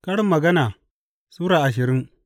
Karin Magana Sura ashirin